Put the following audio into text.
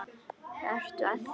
Ertu að því?